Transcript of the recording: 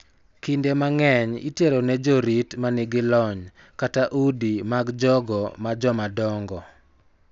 Kinde mang�eny itero ne jorit ma nigi lony kata udi mag jogo ma jomadongo,